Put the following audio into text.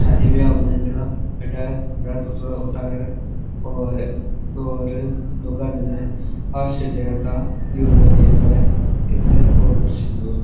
शादी ब्याह हुए जना अठे रथ जो उतारे और और लोगा ने हे न आशीष देनता यूज़ में लिए जावे इनने ओ अग्रसेन भवन।